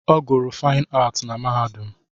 Ọ gụrụ Faịn Aatị na mahadum.